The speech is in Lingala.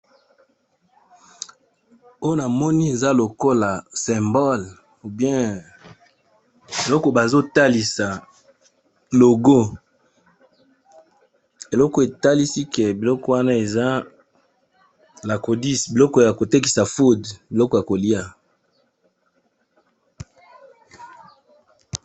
Oyo namoni eza lokola symbole ou bien biloko bazotalisa logo, eloko etalisi ke biloko wana eza lacodis biloko ya kotekisa food biloko ya kolya.